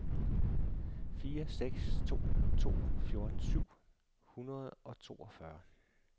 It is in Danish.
fire seks to to fjorten syv hundrede og toogfyrre